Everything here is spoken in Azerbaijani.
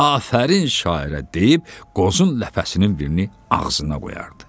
Afərin şairə deyib qozun ləfəsinin birini ağzına qoyardı.